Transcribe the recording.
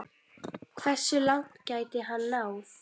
Hversu langt gæti hann náð?